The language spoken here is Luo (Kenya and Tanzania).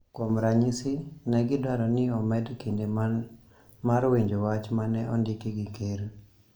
Kuom ranyisi, ne gidwaro ni omed kinde mar winjo wach ma ne ondiki gi Ker.